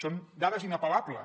són dades inapel·lables